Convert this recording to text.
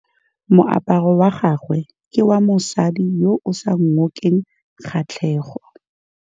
Moaparô wa gagwe ke wa mosadi yo o sa ngôkeng kgatlhegô.